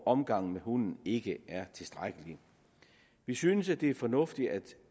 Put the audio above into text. omgang med hunden ikke er tilstrækkelig vi synes det er fornuftigt at